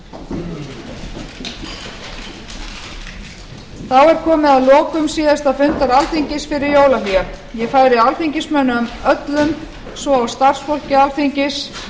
þá er komið að lokum síðasta fundar alþingis fyrir jólahlé ég færi alþingismönnum öllum svo og starfsfólki alþingis